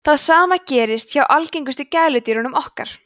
það sama gerist hjá algengustu gæludýrum okkar